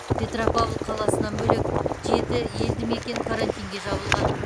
петропавл қаласынан бөлек жеті елді мекен карантинге жабылған